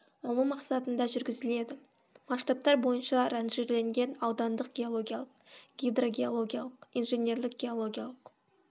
алу мақсатында жүргізіледі масштабтар бойынша ранжирленген аудандық геологиялық гидрогеологиялық инженерлік геологиялық